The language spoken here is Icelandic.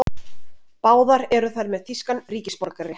Báðar eru þær með þýskan ríkisborgararétt